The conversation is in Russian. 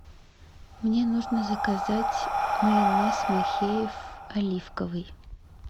мне нужно заказать майонез махеев оливковый